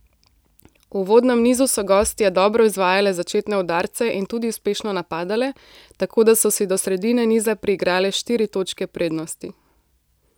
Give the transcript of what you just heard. V uvodnem nizu so gostje dobro izvajale začetne udarce in tudi uspešno napadale, tako da so si do sredine niza priigrale štiri točke prednosti.